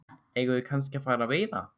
Eigum við kannski að fara að veiða?